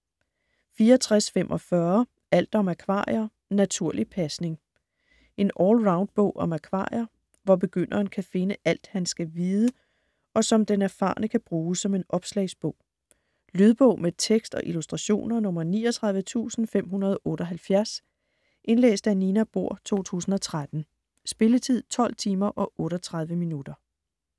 64.45 Alt om akvarier - naturlig pasning En allround bog om akvarier, hvor begynderen kan finde alt, han skal vide, og som den erfarne kan bruge som en opslagsbog. Lydbog med tekst og illustrationer 39578 Indlæst af Nina Bohr, 2013. Spilletid: 12 timer, 38 minutter.